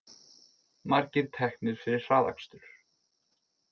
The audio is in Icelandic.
Margir teknir fyrir hraðakstur